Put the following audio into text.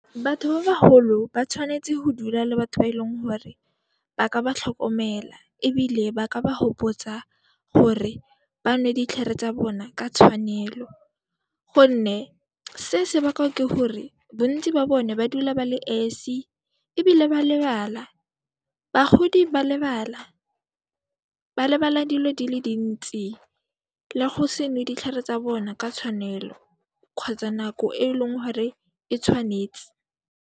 Batho ba baholo ba tshwanetse go dula le batho ba e leng gore ba ka ba tlhokomela ebile ba ka ba gopotsa gore ba nwe ditlhare tsa bona ka tshwanelo gonne se se bakwa ke gore bontsi ba bone ba dula ba le esi ebile ba lebala, bagodi ba lebala. Ba lebala dilo di le dintsi le go se nwe ditlhare tsa bona ka tshwanelo kgotsa nako e e leng gore e tshwanetse.